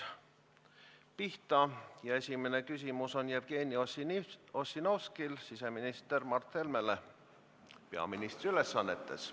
Esimene küsimus on Jevgeni Ossinovskil siseminister Mart Helmele peaministri ülesannetes.